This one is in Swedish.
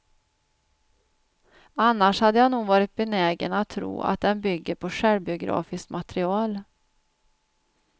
Annars hade jag nog varit benägen att tro att den bygger på självbiografiskt material.